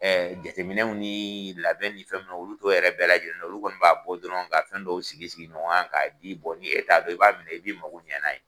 jateminɛw ni labɛn ni fɛn olu' to yɛrɛ bɛɛ la lajɛlen olu kɔni b'a bɔ dɔrɔn ka fɛn dɔw sigi sigi ɲɔgɔn ka di bɔ ni e ta i b'a i bɛ mako ɲɛna ye.